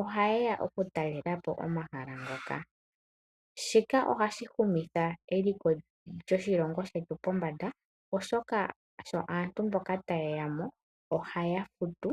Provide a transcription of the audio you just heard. oha yeya oku talelapo omahala ngoka. Shika oha shihumitha eliko lyoshilongo shetu pombanda oshoka sho aantu mboka ta yeyamo oha yafutu.